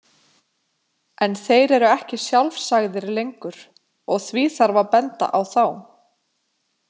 En þeir eru ekki sjálfsagðir lengur, og því þarf að benda á þá.